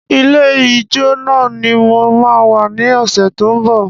Ilé ìjo náà ni mo máa wà ní ọ̀sẹ̀ to ń bọ̀